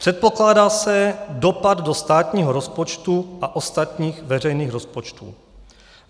Předpokládá se dopad do státního rozpočtu a ostatních veřejných rozpočtů.